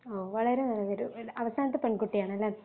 ഓ വളരെ നല്ല പേരുകൾ അവസാനത്തെ പെൺകുട്ടിയാണല്ലേ